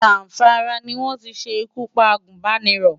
Zamfara ni wọ́n ti ṣe ikú pa agùnbánirọ̀.